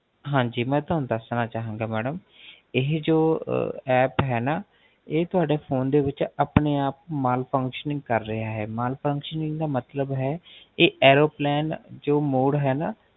ਹਾਂਜੀ ਮੈ ਤੁਹਾਨੂ ਦਸਣਾ ਚਾਹਾਂਗਾ Madam madam, ਇਹ ਜੋ App ਹੈ ਨਾ, ਇਹ ਤੁਹਾਡੇ Phone ਦੇ ਵਿੱਚ ਆਪਣੇ ਆਪ Malfunctioning ਕਰ ਰਿਹਾ ਹੈ Malfunctioning ਦਾ ਮਤਲਬ ਹੈ, ਇਹ Airplane ਜੋ Mode ਹੈ ਨਾ